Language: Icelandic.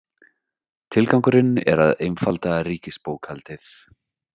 Tilgangurinn er að einfalda ríkisbókhaldið